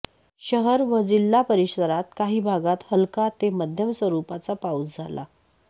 शहर व जिल्हा परिसरात काही भागात हलका ते मध्यम स्वरूपाचा पाऊस झाला